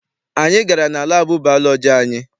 Anyị gara na laabụ baalọji ụnyaahụ.